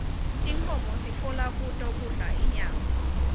tinkhomo sitfola kuto kudla inyama